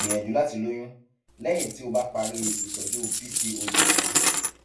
gbìyànjú láti lóyún lẹyìn tí o bá ti parí ìtọjú pcod tán